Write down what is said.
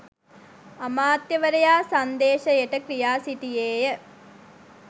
අමාත්‍යවරයා සංදේශයට කියා සිටියේය